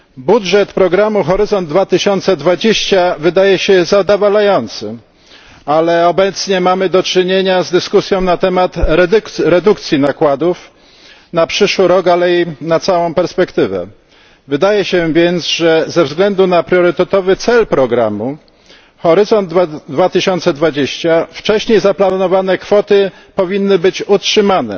Budżet programu Horyzont 2020 wydaje się zadowalający, ale obecnie mamy do czynienia z dyskusją na temat redukcji nakładów na przyszły rok, jak i na całą perspektywę do 2020. Wydaje się więc, że ze względu na priorytetowy cel programu Horyzont 2020 wcześniej zaplanowane kwoty powinny być utrzymane,